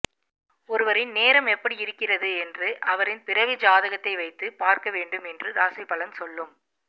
ஒருவரின் நேரம் எப்படி இருக்கிறது என்று அவரின் பிறவி ஜாதகத்தை வைத்து பார்க்க வேண்டும் என்று ராசி பலன் சொல்லும்